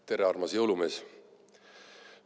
Tere, armas jõulumees!